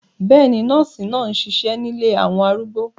Bẹ́ẹ̀ni, nọ́ọ̀sì náà ń ṣiṣẹ́ nílé àwọn arúgbó